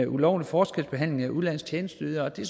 ulovlig forskelsbehandling af udenlandske tjenesteydere det